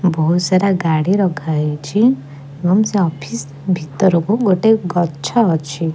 ବହୁତ ସାରା ଗାଡି ରଖା ହେଇଚି ଏବଂ ସେ ଅଫିସ୍ ଭିତରକୁ ଗୋଟେ ଗଛ ଅଛି।